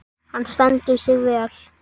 Hann stendur sig vel.